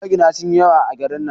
Magina sun yi yawa a garin nan